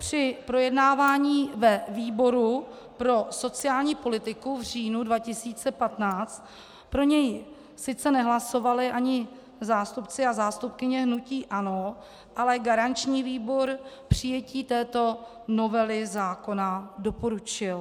Při projednávání ve výboru pro sociální politiku v říjnu 2015 pro něj sice nehlasovali ani zástupci a zástupkyně hnutí ANO, ale garanční výbor přijetí této novely zákona doporučil.